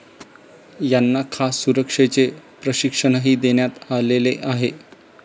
यांना खास सुरक्षेचे प्रशिक्षणही देण्यात आलेले आहे.